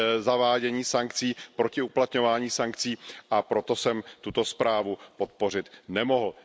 zavádění sankcí, proti uplatňování sankcí, a proto jsem tuto zprávu podpořit nemohl.